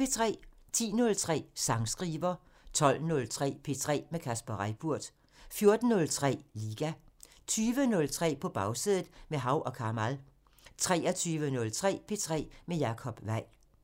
10:03: Sangskriver 12:03: P3 med Kasper Reippurt 14:03: Liga 20:03: På Bagsædet – med Hav & Kamal 23:03: P3 med Jacob Weil